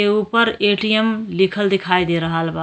के ऊपर ए.टी.एम लिखल देखई दे रहल बा।